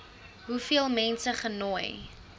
hoeveel mense genooi